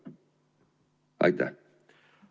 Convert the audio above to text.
Aitäh!